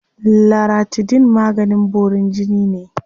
Laratidine maganin borin jini ne.